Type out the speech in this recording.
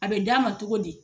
A bɛ d' a ma togo di?